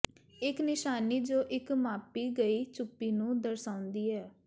ਇੱਕ ਨਿਸ਼ਾਨੀ ਜੋ ਇੱਕ ਮਾਪੀ ਗਈ ਚੁੱਪੀ ਨੂੰ ਦਰਸਾਉਂਦੀ ਹੈ